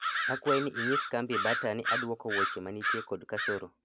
akwayi ni inyis kambi bata ni aduoko wuoche manitie kod kasoro